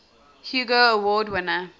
hugo award winner